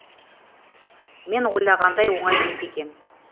мен ойлағандай оңай емес екен